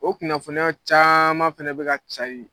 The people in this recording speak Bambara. O kunnafoniya caman fɛnɛ be ka cari